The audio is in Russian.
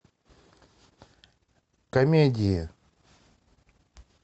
комедии